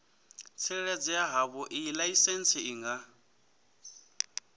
tsireledzea havhoiyi laisentsi i nga